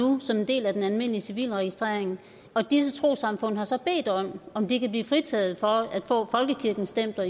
nu som en del af den almindelige civilregistrering og disse trossamfund har så bedt om om de kan blive fritaget for at få folkekirkens stempler